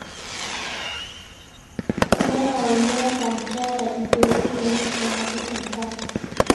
neyau metaa keetae impeutin naitosha natii enkare